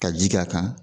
Ka ji k'a kan